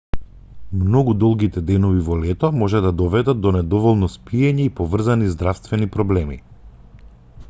многу долгите денови во лето може да доведат до недоволно спиење и поврзани здравствени проблеми